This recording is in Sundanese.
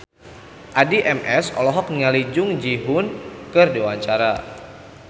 Addie MS olohok ningali Jung Ji Hoon keur diwawancara